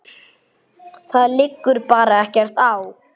Það liggur bara ekkert á.